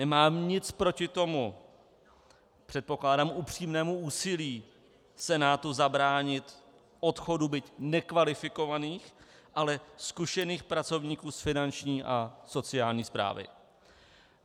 Nemám nic proti tomu, předpokládám, upřímnému úsilí Senátu zabránit odchodu byť nekvalifikovaných, ale zkušených pracovníků z finanční a sociální správy.